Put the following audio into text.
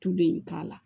Tule in k'a la